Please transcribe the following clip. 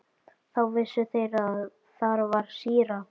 Þá vissu þeir að þar var síra Björn.